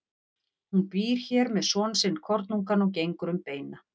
Hún býr hér með son sinn kornungan og gengur um beina.